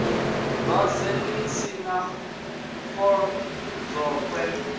dwadze ḽi si na dzolokwe